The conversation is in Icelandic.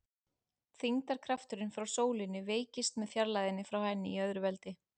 Þyngdarkrafturinn frá sólinni veikist með fjarlægðinni frá henni í öðru veldi.